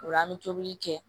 O la an bɛ tobili kɛ